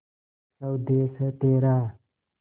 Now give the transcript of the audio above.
स्वदेस है तेरा